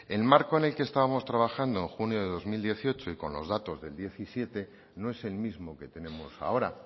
el marco en el que estábamos trabajando junio de dos mil dieciocho y con los datos del diecisiete no es el mismo que tenemos ahora